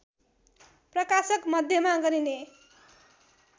प्रकाशक मध्येमा गनिने